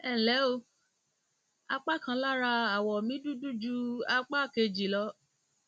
ẹ ǹlẹ o apá kan lára awọ ara mi dúdú ju apá kejì lọ